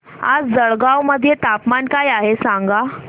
आज जळगाव मध्ये तापमान काय आहे सांगा